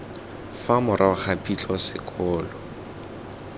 fa morago ga phitlho sekolo